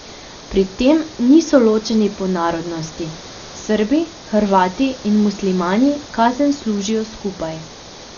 Pri tem niso ločeni po narodnosti, Srbi, Hrvati in Muslimani kazen služijo skupaj.